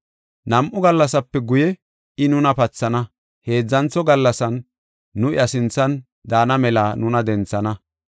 Nam7u gallasape guye I nuna pathana; heedzantho gallasan nu iya sinthan daana mela nuna denthana.